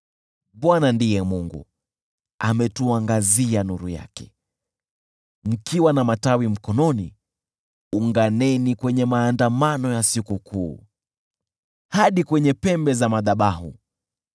Bwana ndiye Mungu, naye ametuangazia nuru yake. Mkiwa na matawi mkononi, unganeni kwenye maandamano ya sikukuu hadi kwenye pembe za madhabahu.